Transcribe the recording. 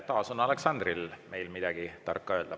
Taas on Aleksandril midagi tarka öelda.